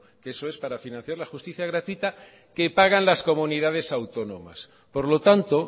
que eso es para financiar la justicia gratuita que pagan las comunidades autónomas por lo tanto